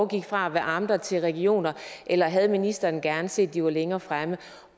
gik fra amter til regioner eller havde ministeren gerne set at de var længere fremme